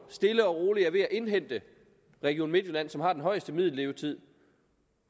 stille og roligt er ved at indhente region midtjylland som har den højeste middellevetid